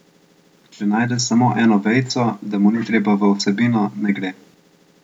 Če najde samo eno vejico, da mu ni treba v vsebino, ne gre.